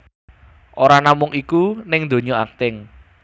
Ora namung iku ning dunya akting